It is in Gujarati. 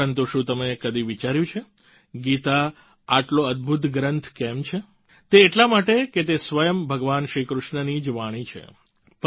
પરંતુ શું તમે કદી વિચાર્યું છે ગીતા આટલો અદભૂત ગ્રંથ કેમ છે તે એટલા માટે કે તે સ્વયં ભગવાન શ્રીકૃષ્ણની જ વાણી છે